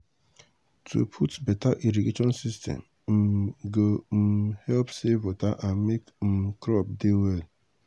to put beta irrigation system um go um help save water and make um crop do well